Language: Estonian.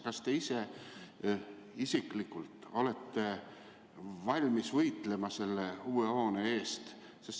Kas te isiklikult olete valmis võitlema selle uue hoone eest?